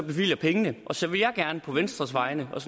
bevilger pengene så vil jeg gerne på venstres vegne og